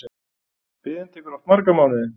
Biðin tekur oft marga mánuði.